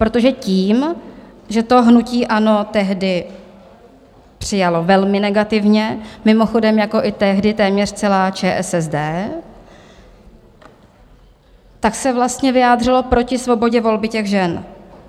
Protože tím, že to hnutí ANO tehdy přijalo velmi negativně, mimochodem jako i tehdy téměř celá ČSSD, tak se vlastně vyjádřilo proti svobodě volby těch žen.